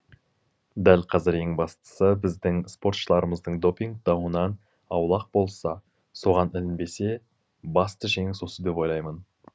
дәл қазір ең бастысы біздің спортшыларымыздың доппинг дауынан аулақ болса соған ілінбесе басты жеңіс осы деп ойлаймын